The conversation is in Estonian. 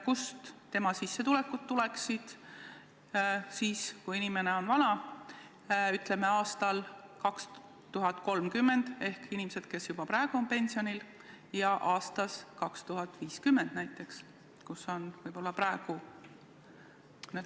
Kust inimese sissetulekud tuleksid, kui ta on vana, ütleme, aastal 2030 ja aastal 2050 näiteks?